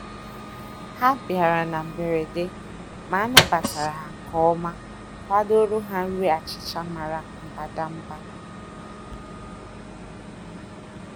Ha bịara na mgberede, ma anabatara ha nke ọma kwadoro ha nri achịcha mara mbadamba.